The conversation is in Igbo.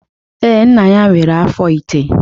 Ee, nna ya nwere afọ ite